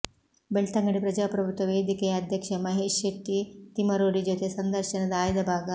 ಬೆಳ್ತಂಗಡಿ ಪ್ರಜಾಪ್ರಭುತ್ವ ವೇದಿಕೆಯ ಅಧ್ಯಕ್ಷ ಮಹೇಶ್ ಶೆಟ್ಟಿ ತಿಮರೋಡಿ ಜೊತೆ ಸಂದರ್ಶನದ ಆಯ್ದ ಭಾಗ